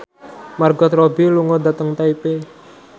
Margot Robbie lunga dhateng Taipei